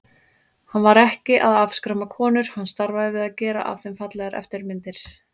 Hann var ekki að afskræma konur, hann starfaði við að gera af þeim fallegar eftirmyndir.